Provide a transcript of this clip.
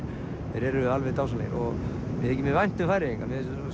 þeir eru alveg dásamlegir og mér þykir mjög vænt um Færeyinga